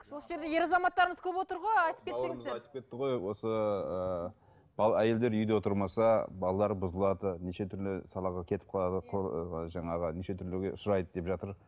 осы жерде ер азаматтарымыз көп отыр ғой айтып кетсеңіздер айтып кетті ғой осы ыыы әйелдер үйде отырмаса балалар бұзылады неше түрлі салаға кетіп қалады ы жаңағы неше түрліге ұшырайды деп жатыр